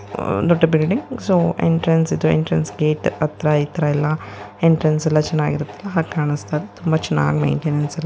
ದೊಡ್ಡ building so entrance ಹತ್ರ ಇತರ ಎಲ್ಲ ಎಂಟ್ರೆನ್ಸ್ ಎಲ್ಲಾ ಚೆನ್ನಾಗಿರುತ್ತೆ. ಚೆನ್ನಾಗಿ ಕಾಣಿಸ್ತಿತ್ತು. ತುಂಬಾ ಚೆನ್ನಾಗಿ ಮೆಂಟೇನ್--